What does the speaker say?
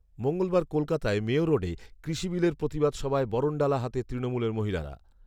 মঙ্গলবার কলকাতায় মেয়ো রোডে কৃষি বিলের প্রতিবাদ সভায় বরণডালা হাতে তৃণমূলের মহিলারা